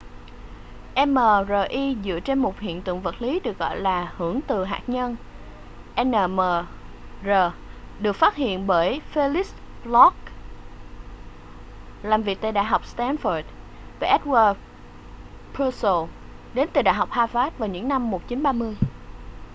mri dựa trên một hiện tượng vật lý được gọi là hưởng từ hạt nhân nmr được phát hiện bởi felix bloch làm việc tại đại học stanford và edward purcell đến từ đại học harvard vào những năm 1930